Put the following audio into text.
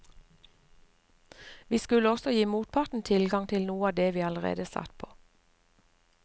Vi skulle også gi motparten tilgang til noe av det vi allerede satt på.